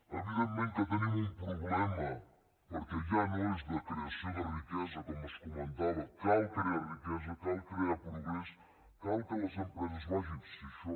evidentment que tenim un problema perquè ja no és de creació de riquesa com es comentava cal crear riquesa cal crear progrés cal que les empreses vagin si això